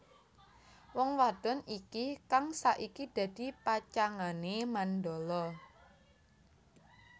Wong wadon iki kang saiki dadi pacangané Mandala